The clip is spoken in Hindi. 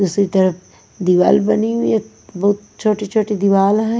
दूसरी तरफ दीवार बनी हुई है बहुत छोटी-छोटी दीवार है।